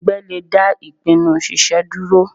Ẹgbẹ́ le dá ìpinnu ṣiṣe dúró.